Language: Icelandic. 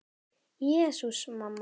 Jesús, mamma.